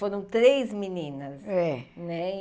Foram três meninas é, né?